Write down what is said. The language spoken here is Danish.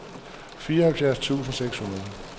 fireoghalvfjerds tusind seks hundrede